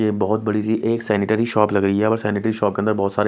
ये बहोत बड़ी सी एक सैनिटरी शॉप लग रही है व सैनिटरी शॉप के अंदर बहोत सारे--